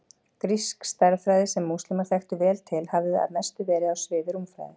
Grísk stærðfræði, sem múslímar þekktu vel til, hafði að mestu verið á sviði rúmfræði.